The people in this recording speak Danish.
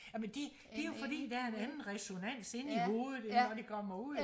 jamen det det er jo fordi der er en anden resonans inde i hovedet end når det kommer ud